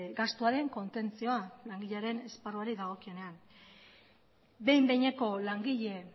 gastuaren kontentzioa langilearen esparruari dagokionean behin behineko langile